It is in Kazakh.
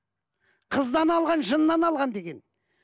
қыздан алған жыннан алған деген